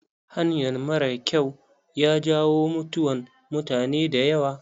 Hanyan mara kyau ya jawo mutuwan mutane da yawa.